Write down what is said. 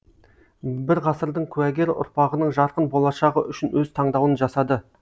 бір ғасырдың куәгері ұрпағының жарқын болашағы үшін өз таңдауын жасады